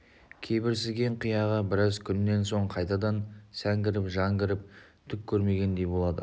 кеберсіген қияға біраз күннен соң қайтадан сән кіріп жан кіріп түк көрмегендей болады